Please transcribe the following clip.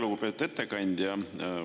Lugupeetud ettekandja!